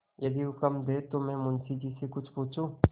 यदि हुक्म दें तो मैं मुंशी जी से कुछ पूछूँ